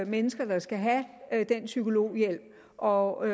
mennesker der skal have den psykologhjælp og